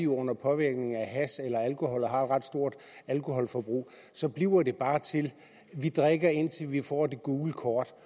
under påvirkning af hash eller alkohol og har et ret stort alkoholforbrug og så bliver det bare til at de drikker indtil de får det gule kort